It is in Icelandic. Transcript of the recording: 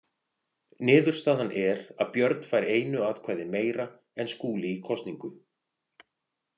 Niðurstaðan er að Björn fær einu atkvæði meira en Skúli í kosningu.